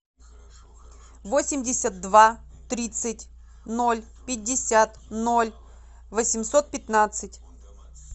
восемьдесят два тридцать ноль пятьдесят ноль восемьсот пятнадцать